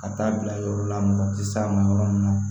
Ka taa bila yɔrɔ la mɔgɔ tɛ s'a ma yɔrɔ min na